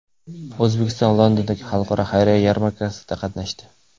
O‘zbekiston Londondagi Xalqaro xayriya yarmarkasida qatnashdi.